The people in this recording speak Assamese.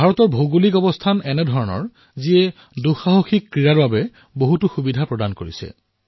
ভাৰতৰ ভৌগোলিক আকৃতি এনেকুৱা যে দেশত অভিযানমূলক ক্ৰীড়াৰ বাবে অনেক অৱকাশৰ সৃষ্টি হয়